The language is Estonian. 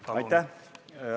Palun!